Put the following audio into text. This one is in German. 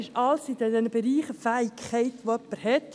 All das gehört zu den Fähigkeiten, die jemand hat.